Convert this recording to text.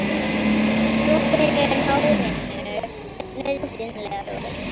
Þvottur er hárinu nauðsynlegur.